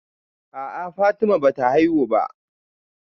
A'a Fatima bata haihu ba